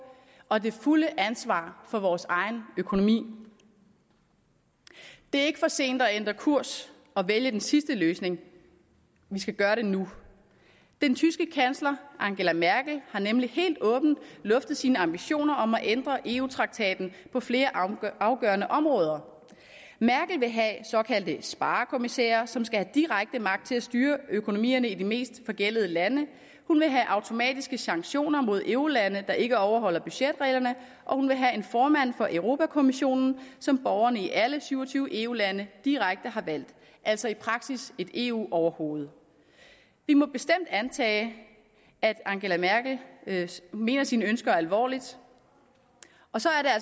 og det fulde ansvar for vores egen økonomi det er ikke for sent at ændre kurs og vælge den sidste løsning vi skal gøre det nu den tyske kansler angela merkel har nemlig helt åbent luftet sine ambitioner om at ændre eu traktaten på flere afgørende områder merkel vil have såkaldte sparekommissærer som skal have direkte magt til at styre økonomierne i de mest forgældede lande hun vil have automatiske sanktioner mod eurolande der ikke overholder budgetreglerne og hun vil have en formand for europa kommissionen som borgerne i alle syv og tyve eu lande direkte har valgt altså i praksis et eu overhoved vi må bestemt antage at angela merkel mener sine ønsker alvorligt og så